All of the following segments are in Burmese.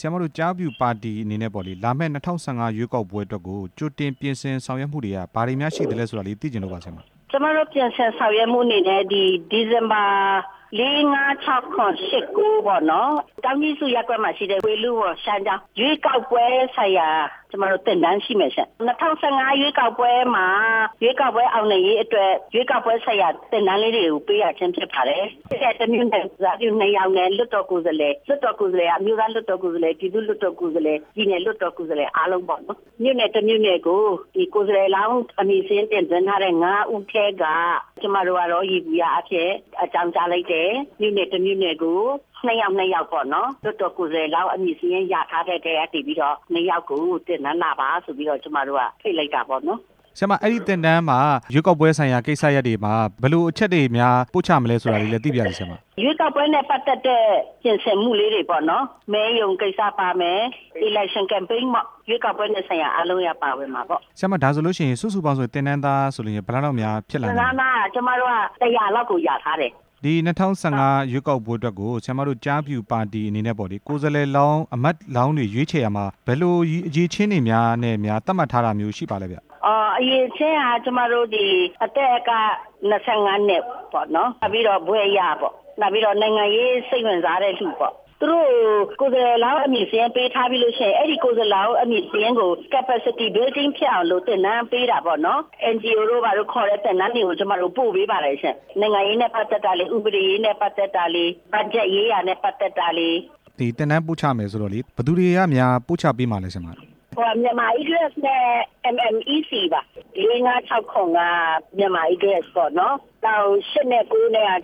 ဆရာမတို့ ကျားဖြူပါတီအနေနဲ့ လာမယ့် ၂၀၁၅ ရွေးကောက်ပွဲအတွက်ကို ကြိုတင်ပြင်ဆင်မှုများအနေနဲ့ ဘာတွေများရှိလဲဆိုတာ သိချင်လို့ ပါဆရာမ။ ကျမတို့ ပြင်ဆင်မှုအနေနဲ့ ဒီဇင်ဘာ ၄၊ ၅၊ ၆၊ ၇၊ ၈၊ ၉ ပေါ့နော် ကျောင်းကြီးစု ရပ်ကွက်မှာရှိတဲ့ ဝေဠုဝန် ရှမ်းကျောင်း ရွေးကောက်ပွဲ ဆိုင်ရာ ကျမတို့သင်တန်းရှိမယ်ရှင့်၊ ၂၀၁၅ ရွေးကောက်ပွဲမှာ ရွေးကောက်ပွဲအောင်နိုင်ရေး အတွက် ရွေးကောက်ပွဲဆိုင်ရာ သင်တန်းလေးတွေကို ပေးရခြင်းဖြစ် ပါတယ်၊ ပြည်နယ်ကိုယ်စားပြု ၂ ယောက်နဲ့ လွှတ်တော်ကိုယ်စားလှယ်၊ လွှတ်တော် ကိုယ်စားလှယ်က အမျိုးသားလွှတ်တော် ကိုယ်စားလှယ်၊ ပြည်သူ့ လွှတ်တော် ကိုယ်စားလှယ်၊ ပြည်နယ်လွှတ်တော် ကိုယ်စားလှယ် အားလုံးပေါ့နော်၊ မြို့နယ်တစ်မြို့ နယ်ကို ကိုယ်စားလှယ်လောင်းအမည် တင်သွင်းထားတဲ့ ၅ ဦးထဲက ကျမတို့ကတော့ ယေဘုယျအားဖြင့် အကြောင်းကြားလိုက်တယ်၊ မြို့နယ်တစ်မြို့နယ်ကို ၂ ယောက်၊ ၂ ယောက်ပေါ့နော်၊ လွှတ်တော်ကိုယ်စား လှယ်လောင်း အမည်စာရင်းရထားတဲ့ တည်းက နေပြီးတော့ ၂ ယောက်ကို ဒီသင်တန်းလာပါဆိုပြီး ဖိတ်လိုက်တာပေါ့နော်၊ ဆရာမ အဲ့သင်တန်းမှာရွေးကောက်ပွဲဆိုင်ရာ ကိစ္စရပ်တွေမှာ ဘယ်လိုအချက်တွေများ ပို့ချမလဲဆိုတာ သိပါရစေဆရာမ ရွေးကောက်ပွဲနဲ့ ပတ်သက်တဲ့ ပြင်ဆင်မှုလေးတွေပေါ့နော်၊ မဲရုံကိစ္စပါမယ်၊ ရွေးကောက်ပွဲနဲ့ ဆိုင်ရာအားလုံးပါဝင်မှာပေါ့ ဆရာမ ဒါဆိုရင် စုစုပေါင်းသင်တန်းသား ဘယ်နှယောက် လောက်ပါမလဲ ကျမတို့က ၁၀၀ လောက်ကို လျာထားတယ် ဒီ၂၀၁၅ ရွေးကောက်ပွဲအတွက်ကို ဆရာမတို့ ကျားဖြူပါတီ အနေနဲ့ပေါ့လေ ကိုယ်စားလှယ်လောင်း၊ အမတ်လောင်းတွေရွေးချယ်ရာမှာ ဘယ်လိုအရည်အချင်းတွေများ သတ်မှတ်ထားတာရှိလဲ ဆရာမ အရည်အချင်းက အသက်က ၂၅ နှစ်ပေါ့နော်၊ နောက်ပြီးတော့ ဘွဲ့ရပေါ့၊ နောက်ပြီးတော့ နိုင်ငံရေး စိတ်ဝင်စားတဲ့သူပေါ့၊ သူတို့ ကိုယ်စားလှယ်လောင်း အမည်စာရင်းပေးထားပြီးလို့ရှိရင် အဲ့ဒီကိုယ်စားလှယ်လောင်း အမည်စာရင်းကို သင်တန်းပေးတာပေါ့နော်၊ NGO တို့ဘာတို့ ခေါ်တဲ့ သင်တန်းတွေကို ကျမတို့ ပို့ပေးပါတယ်ရှင့်၊ နိုင်ငံရေးနဲ့ ပတ်သက်တာလေး၊ ဥပဒေရေးနဲ့ ပတ်သက်တာလေး၊ ဘတ်ဂျက်ရေးရာနဲ့ ပတ်သက်တာလေး သင်တန်းပို့ချမှာဆိုတော့ ဘယ်သူတွေကများ ပို့ချမှာလဲ ဆရာမ မြန်မာ အီးဂရက်စ်နဲ့ အမ်အမ်အီးစီပါ၊ ၄၊ ၅၊ ၆၊ ၇၊ က မြန်မာ အီးဂရက်စ်ပါ၊ ၈၊ ၉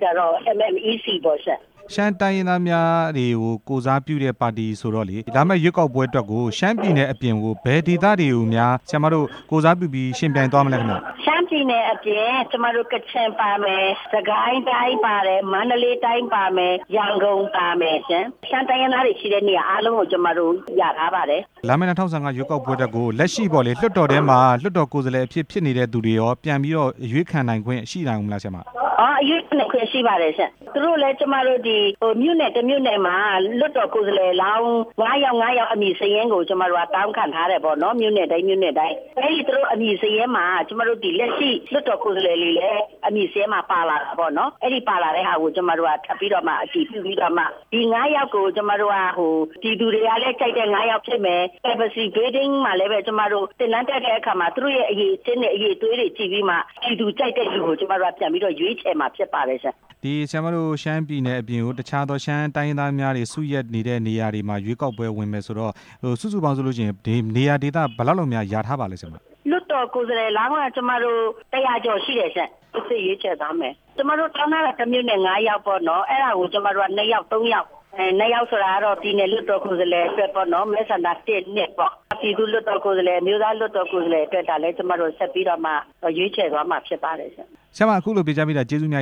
ကတော့ အမ်အမ်အီးစီပေါ့၊ ရှမ်းတိုင်းရင်းသားများကို ကိုယ်စားပြုတဲ့ ပါတီဆိုတော့လေ လာမယ့်ရွေးကောက်ပွဲအတွက်ကို ရှမ်းပြည်နယ်အပြင်ကို ဘယ်ဒေသတွေကိုများ ကိုယ်စားပြုယှဉ်ပြိုင်မလဲ ဆရာမ ရှမ်းပြည်နယ်အပြင် ကျမတို့ ကချင်ပါမယ်၊ စစ်ကိုင်းတိုင်းပါမယ်၊ မန္တလေးတိုင်းပါတယ်၊ ရန်ကုန်ပါမယ်၊ ရှမ်းတိုင်းရင်းသားတွေ ရှိတဲ့နေရာတိုင်းကို ကျမတို့ လျာထားပါတယ်၊ လာမယ့် ၂၀၁၅ ရွေးကောက်ပွဲ အတွက်ကို လက်ရှိပေါ့လေ လွှတ်တော်ထဲမှာ လွှတ်တော်ကိုယ်စားလှယ် အဖြစ် ဖြစ်နေ တဲ့သူရော ပြန်ပြီးတော့ အရွေးခံနိုင်ခွင့် ရှိလားဆရာမ အရွေးခံနိုင်ခွင့် ရှိပါတယ်ရှင့်၊ သူတို့လဲ ကျမတို့ ဒီမြို့နယ်တစ်မြို့နယ်မှာ လွှတ်တော်ကိုယ်စားလှယ်လောင်း ၅ ယောက်၊ ၅ ယောက် အမည်စာရင်းကို ကျမတို့တောင်းခံထားတယ်ပေါ့နော်၊ မြို့နယ်တိုင်း မြို့နယ်တိုင်း၊ ကျမတို့ လက်ရှိ လွှတ်တော်ကိုယ်စားလှယ်တွေရဲ့အမည်စာရင်းမှာ ပါလာ တာပေါ့နော်၊ အဲ့ဒီပါလာတဲ့ဟာကို ကျမတို့က ထပ်ပြီးတော့မှ အတည်ပြုပြီးတော့မှ ဒီ ၅ ယောက်ကို ကျမတို့က ပြည်သူတွေကလဲ ကြိုက်တဲ့ ၅ ယောက်ဖြစ်မယ်၊ သင်တန်းတက်တဲ့ အခါမှာလဲ သူတို့ရဲ့အရည်အသွေး၊ အရည်အချင်းတွေကို ကြည့်ပြီးမှ ပြည်သူလဲကြိုက်တဲ့သူကို ရွေးချယ်မှာပါရှင့်၊ ရှမ်းပြည်နယ်အပြင်ကို တခြားသော ရှမ်းတိုင်းရင်းသားများတွေ စုရပ်နေတဲ့ နေရာတွေမှာ ရွေးကောက်ပွဲဝင်မယ်ဆိုတော့ စုစုပေါင်းဆို ရင် နေရာဒေသဘယ်လောက်လောက်များ လျာထားပါလဲ ဆရာမ လွှတ်တော်ကိုယ်စားလှယ်လောင်းက ၁၀၀ ကျော်ရှိတယ်ရှင့်၊ စီစစ်ရွေးချယ်သွားမယ်၊ ကျမတို့တောင်းထားတဲ့ တစ်မြို့နယ် ၅ ယောက်ပေါ့နော်၊ အဲ့ဒါကို ကျမတို့က ၂ ယောက်၊ ၃ ယောက်၊ ၂ ယောက်ဆိုတာ ကတော့ ပြည်နယ်လွှတ်တော် ကိုယ်စားလှယ်အဖွဲ့ပေါ့နော်၊ မဲဆန္ဒ ၁၊ ၂၊ ပေါ့၊ ပြည်သူ့လွှတ်တော် ကိုယ်စားလှယ်၊ အမျိုးသားလွှတ်တော်ကိုယ်စားလှယ်တွက်လဲ ကျမတို့က ဆက်ပြီးတော့မှ ကျမတို့က ရွေးချယ်သွားမှာ ဖြစ်ပါတယ်၊ ဆရာမ အခုလိုဖြေကြားပေးတာ ကျေးဇူးအများ